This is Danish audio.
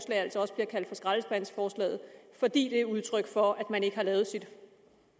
altså også bliver kaldt for skraldespandsforslaget fordi det er et udtryk for at man ikke har lavet sit